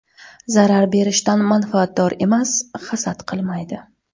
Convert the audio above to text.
Zarar berishdan manfaatdor emas, hasad qilmaydi.